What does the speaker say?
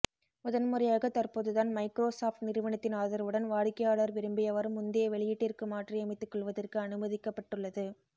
முதன்முறையாக தற்போதுதான் Microsoft நிறுவனத்தின் ஆதரவுடன் வாடிக்கையாளர் விரும்பியவாறு முந்தைய வெளியீட்டிற்கு மாற்றியமைத்துகொள்வதற்கு அனுமதிக்கபட்டுள்ளது